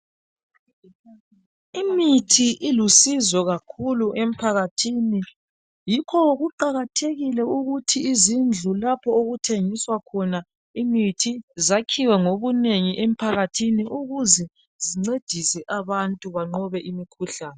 Imithi ilusizo kakhulu emphakathini yikho kuqakathekile ukuthi izindlu lapho okuthengiswa khona imithi zakhiwe ngobunengi ukuze zincedise abantu emphakathini banqobe imikhuhlane.